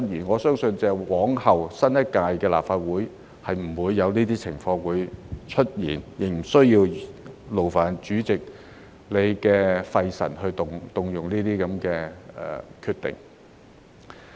我相信由之後新一屆立法會開始，這些情況均不會出現，主席亦不用費神作出有關這些情況的決定。